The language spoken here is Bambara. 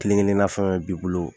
Kelen kelenna fɛn fɛn b'i bolo